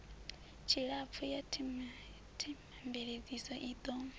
tshilapfu ya themamveledziso i ḓo